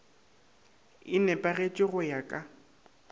e nepagetše go ya ka